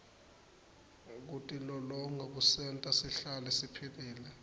kutilolonga kusenta sihlale siphilile